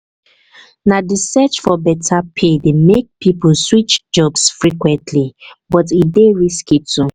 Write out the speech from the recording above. na di search for beta pay dey make pipo switch jobs frequently but e dey risky too.